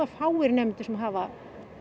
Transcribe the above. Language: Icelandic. fáir nemendur sem hafa